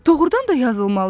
Doğrudan da yazılmalı idi.